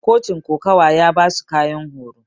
cochin ƙokawa ya basu ƙayan horo.